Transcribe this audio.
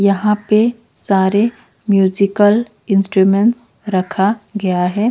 यहां पे सारे म्यूजिकल इंस्ट्रूमेंट रखा गया है।